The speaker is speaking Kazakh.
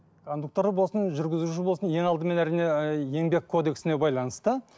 кондукторы болсын жүргізуші болсын ең алдымен әрине ыыы еңбек кодексіне байланысты